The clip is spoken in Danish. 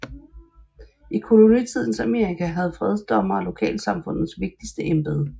I kolonitidens Amerika havde fredsdommere lokalsamfundets vigtigste embede